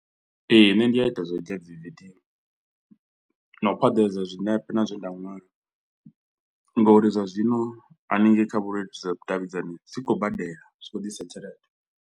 Ee, nṋe ndi a ita zwo dzhia dzi video, na u phaḓaladza zwinepe na zwe nda nwala, ngauri zwa zwino haningei kha vhuleludzi zwa vhudavhidzani zwi khou badela zwi khou ḓisa tshelede.